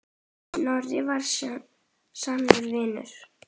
Snorri var sannur vinur.